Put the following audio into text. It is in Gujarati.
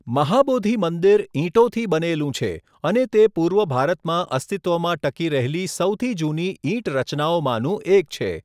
મહાબોધિ મંદિર ઈંટોથી બનેલું છે અને તે પૂર્વ ભારતમાં અસ્તિત્વમાં ટકી રહેલી સૌથી જૂની ઈંટ રચનાઓમાંનું એક છે.